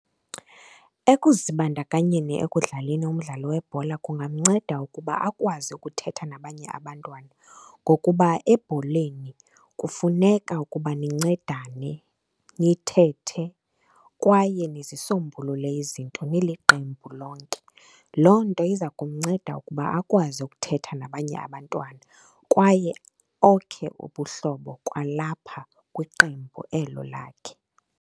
Ekuzibandakanyeni ekudlaleni umdlalo webhola kungamnceda ukuba akwazi ukuthetha nabanye abantwana, ngokuba ebholeni kufuneka ukuba nincedane, nithethe kwaye nizisombulule izinto niliqembu lonke. Loo nto iza kumnceda ukuba akwazi ukuthetha nabanye abantwana kwaye okhe ubuhlobo kwalapha kwiqembu elo lakhe.